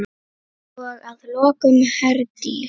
Og að lokum, Herdís.